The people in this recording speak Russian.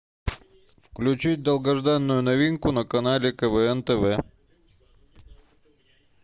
включить долгожданную новинку на канале квн тв